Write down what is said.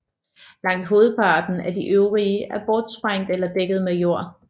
Langt hovedparten af de øvrige er bortsprængt eller dækket med jord